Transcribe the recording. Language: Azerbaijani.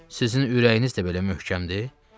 Sizin ürəyiniz də belə möhkəmdir?